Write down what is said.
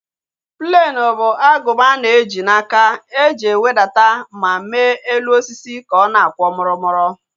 Plenu bụ agụba ana eji n'aka eji ewedata ma mee elu osisi ka ọ na-akwọ murumuru